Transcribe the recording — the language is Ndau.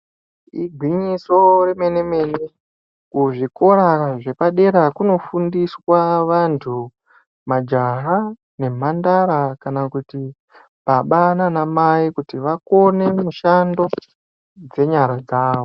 Igwinyiso remene mene kuzvikora zvepadera kunofundiswa vantu majaha nemhandara kana kuti baba nanamai kuti vakone mishando dzenyara dzavo.